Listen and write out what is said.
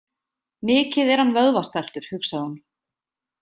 Mikið er hann vöðvastæltur, hugsaði hún.